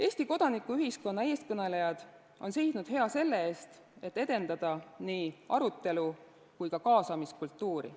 Eesti kodanikuühiskonna eestkõnelejad on seisnud hea selle eest, et edendada nii arutelu- kui ka kaasamiskultuuri.